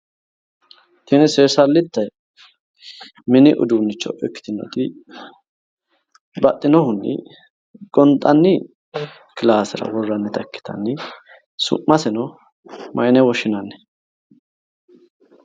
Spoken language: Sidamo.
Tini seesallitte mini uduunnicho ikkitinoti baxxinohunni gonxanni kilaasera worrannita ikkitanni su'mase mayine woshshinanni?